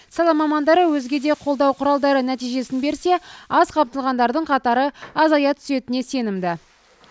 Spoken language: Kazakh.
сала мамандары өзге де қолдау құралдары нәтижесін берсе аз қамтылғандардың қатары азая түсетініне сенімді